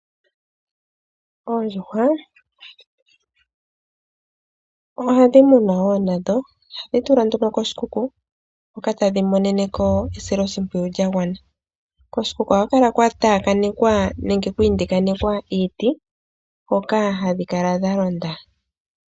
Oondjuhwa ohadhi munwa wo nadho. Ohadhi tulwa nduno koshikuku hoka tadhi monene ko esilo shimpwiyu lya gwana. Koshikuku ohaku kala kwa taaka nekwa nenge kwa indikanekwa iiti hoka hadhi kala dha londa